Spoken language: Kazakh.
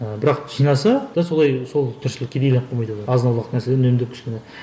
ыыы бірақ жинаса да солай сол тіршілікке азын аулақ нәрселер үнемдеп кішкене